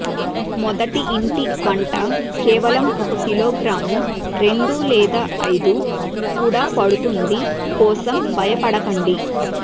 మొదటి ఇంటి వంట కేవలం ఒక కిలోగ్రాము రెండు లేదా ఐదు కూడా పడుతుంది కోసం బయపడకండి